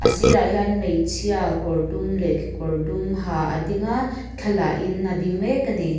sirah hian hmeichhia kawr dum leh kekawr dum ha a ding a thla la in a ding mek a ni.